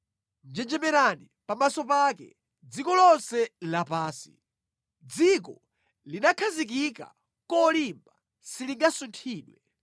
Njenjemerani pamaso pake, dziko lonse lapansi! Dziko linakhazikika kolimba; silingasunthidwe.